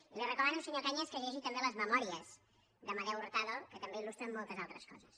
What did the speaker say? i li recomano senyor cañas que llegeixi també les memòries d’amadeu hurtado que també ilaltres coses